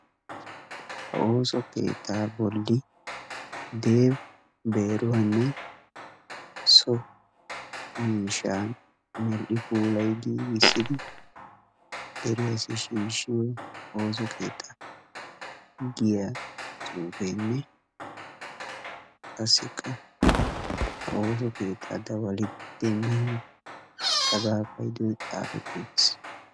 Ha ooso keettaa bolli "dev beeruwanne so miishshaa medhdhi puulayi giigissidi deriyassi shiishshiyo ooso keettaa" giya xuufeenne qassikka ha ooso keettaa dawali demmiyo cagaa payidoy xaafetti uttis.